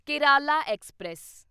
Kerala express